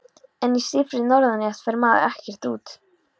En í stífri norðanátt fer maður ekkert út.